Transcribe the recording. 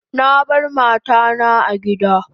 Na bar mata na a gida